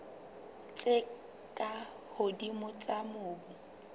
tse ka hodimo tsa mobu